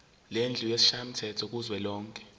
lendlu yesishayamthetho kuzwelonke